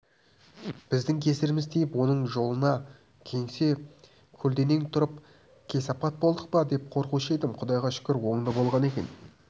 біздің кесіріміз тиіп оның жолына кесе-көлденең тұрып кесапат болдық па деп қорқушы едім құдайға шүкір оңды болған екен